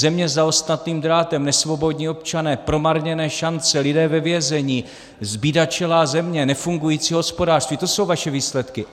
Země za ostnatým drátem, nesvobodní občané, promarněné šance, lidé ve vězení, zbídačelá země, nefungující hospodářství, to jsou vaše výsledky!